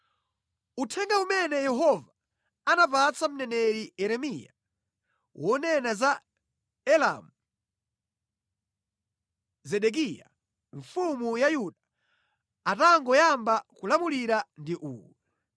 Uthenga umene Yehova anapatsa mneneri Yeremiya wonena za Elamu, Zedekiya mfumu ya Yuda atangoyamba kulamulira ndi uwu: